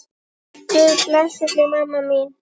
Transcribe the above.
Guð blessi þig, mamma mín.